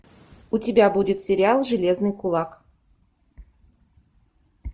у тебя будет сериал железный кулак